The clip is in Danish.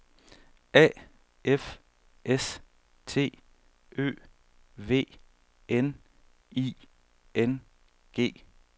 A F S T Ø V N I N G